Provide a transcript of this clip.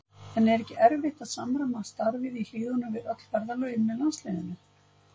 En er ekki erfitt að samræma starfið í Hlíðunum við öll ferðalögin með landsliðinu?